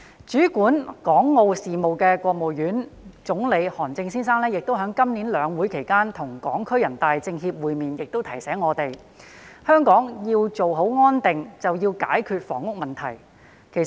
主管港澳事務的國務院副總理韓正先生今年在兩會期間與港區全國人大代表會面時亦提醒我們，香港要做好安定，便要解決房屋問題。